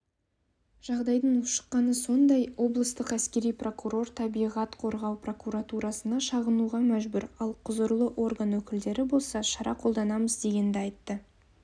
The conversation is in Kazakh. жағдайдың ушыққаны сондай облыстық әскери прокурор табиғат қорғау прокуратурасына шағынуға мәжбүр ал құзырлы орган өкілдері болса шара қолданамыз дегенді айтты